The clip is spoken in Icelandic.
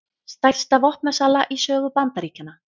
Stærsta vopnasala í sögu Bandaríkjanna